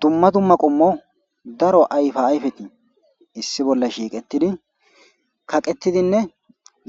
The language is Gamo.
Dumma dumma qommo ayfa ayfe issi bolla shiiqidi licetidi kaqetidi